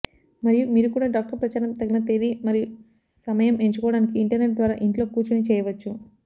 మరియు మీరు కూడా డాక్టర్ ప్రచారం తగిన తేదీ మరియు సమయం ఎంచుకోవడానికి ఇంటర్నెట్ ద్వారా ఇంట్లో కూర్చొని చేయవచ్చు